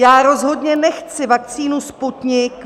Já rozhodně nechci vakcínu Sputnik